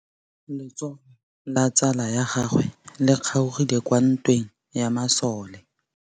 Letsôgô la tsala ya gagwe le kgaogile kwa ntweng ya masole.